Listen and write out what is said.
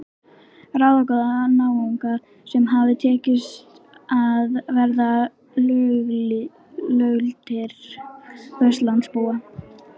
Ráðagóða náunga sem hafði tekist að verða löggiltir Vesturlandabúar.